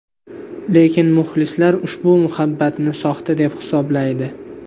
Lekin muxlislar ushbu muhabbatni soxta deb hisoblaydi.